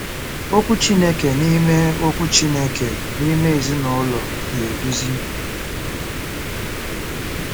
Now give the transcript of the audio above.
Okwu Chineke n’ime Okwu Chineke n’ime Ezinụlọ na-eduzi